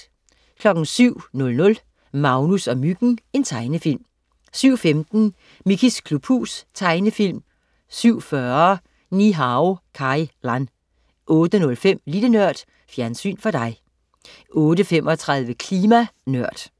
07.00 Magnus og Myggen. Tegnefilm 07.15 Mickeys klubhus. Tegnefilm 07.40 Ni-Hao Kai Lan 08.05 Lille Nørd. Fjernsyn for dig 08.35 Klima Nørd